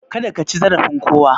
Kada kaci zarafin kowa